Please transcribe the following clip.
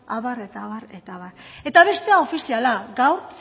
abar eta abar eta abar eta bestea ofiziala gaur